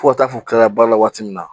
Fo ka taa fɔ kilala waati min na